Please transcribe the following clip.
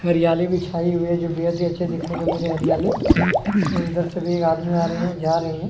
हरियाली भी छाई हुई है जो बेहद ही अच्छी देखने को मिले है हरियाली और उधर से भी एक आदमी आ रहे हैं जा रहे हैं। --